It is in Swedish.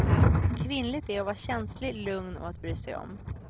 Kvinnligt är att vara känslig, lugn och att bry sig om.